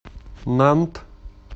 нант